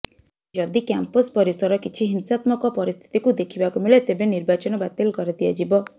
ଯଦି କ୍ୟାମ୍ପସ ପରିସର କିଛି ହିଂସାତ୍ମକ ପରିସ୍ଥତିକୁ ଦେଖିବାକୁ ମିଳେ ତେବେ ନିର୍ବାଚନ ବାତିଲ କରି ଦିଆଯିବ